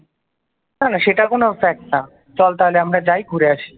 না না সেটা কোনো ফ্যাক্ট না চল তাহলে আমরা যাই ঘুরে আসি